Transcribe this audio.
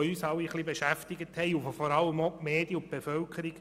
Diese beschäftigten uns, aber vor allem auch die Medien und die Bevölkerung.